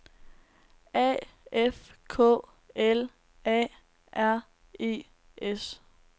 A F K L A R E S